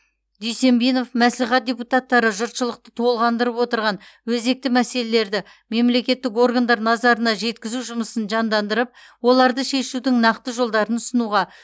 дүйсенбинов мәслихат депутаттары жұртшылықты толғандырып отырған өзекті мәселелерді мемлекеттік органдар назарына жеткізу жұмысын жандандырып оларды шешудің нақты жолдарын ұсынуға